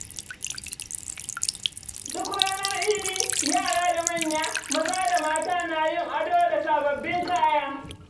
Duk ranar Idi, yara da manya, maza da mata na yin ado da sabbin kaya.